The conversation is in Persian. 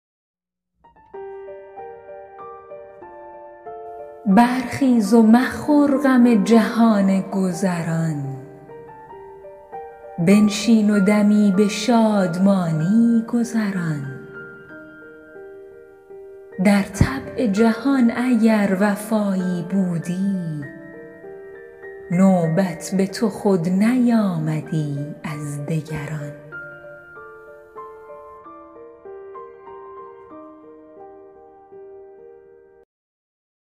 برخیز و مخور غم جهان گذران بنشین و دمی به شادمانی گذران در طبع جهان اگر وفایی بودی نوبت به تو خود نیامدی از دگران